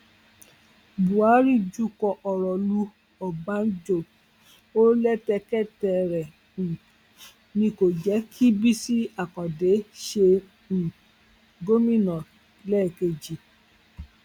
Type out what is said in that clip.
buhari jukọ ọrọ lu ọbànjọ ó lẹtẹkẹtẹ rẹ um ni kò jẹ kí bisi akande ṣe um gómìnà lẹẹkejì